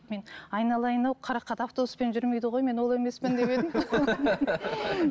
мен айналайын ау қарақат автобуспен жүрмейді ғой мен ол емеспін деп едім